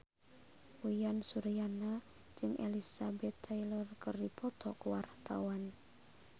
Uyan Suryana jeung Elizabeth Taylor keur dipoto ku wartawan